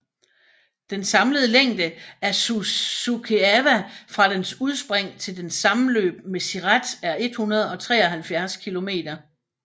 Den samlede længde af Suceava fra dens udspring til dens sammenløb med Siret er 173 km